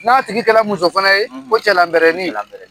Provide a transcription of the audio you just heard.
N'a tigi kɛlɛ muso fana ye ko cɛlanbɛrɛnin.